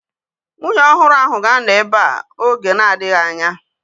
Nwunye ọhụrụ ahu ga-anọ ebea oge na-adịghị anya